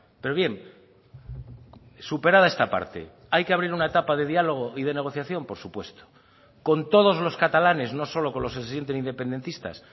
pero bien superada esta parte hay que abrir una etapa de diálogo y de negociación por supuesto con todos los catalanes no solo con los que se sienten independentistas